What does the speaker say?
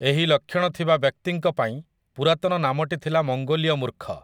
ଏହି ଲକ୍ଷଣ ଥିବା ବ୍ୟକ୍ତିଙ୍କ ପାଇଁ ପୁରାତନ ନାମଟି ଥିଲା ମଙ୍ଗୋଲୀୟ ମୂର୍ଖ ।